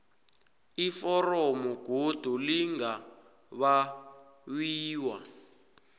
iforomo godu lingabawiwa